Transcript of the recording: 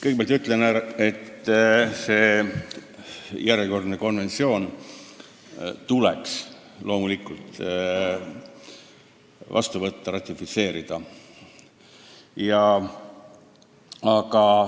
Kõigepealt ütlen ära, et selle järjekordse konventsiooniga tuleks loomulikult ühineda.